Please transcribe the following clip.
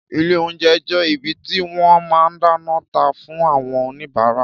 Ìlé ounjé jé ìbí tí wõn má dánõ tá fun awõn òníbàrá